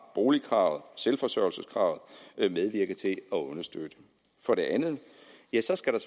boligkravet og selvforsørgelseskravet medvirke til at understøtte for det andet skal der